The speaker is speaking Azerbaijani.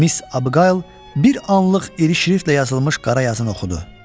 Miss Abqayl bir anlıq iri şriftlə yazılmış qara yazını oxudu.